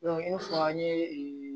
i n'a fɔ an ye